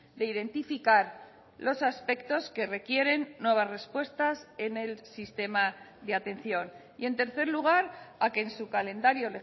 de identificar los aspectos que requieren nuevas respuestas en el sistema de atención y en tercer lugar a que en su calendario